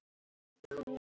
Það er frábær fæða.